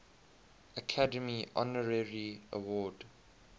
academy honorary award